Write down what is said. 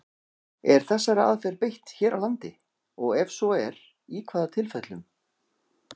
Er þessari aðferð beitt hér á landi, og ef svo er, í hvaða tilfellum?